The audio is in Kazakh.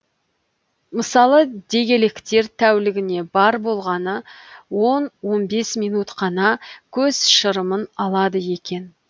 мысалы дегелектер тәулігіне бар болғаны он он бес минут қана көз шырымын алады екен